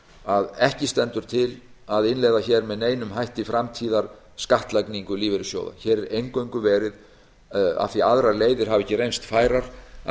að ekki stendur til að innleiða hér með neinum hætti framtíðarskattlagningu lífeyrissjóða hér er eingöngu verið af því að aðrar leiðir hafa ekki reynst færar að